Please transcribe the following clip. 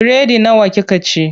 Biredi nawa kika ci?